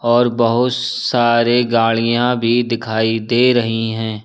और बहुत सारे गाड़ियां भी दिखाई दे रही हैं।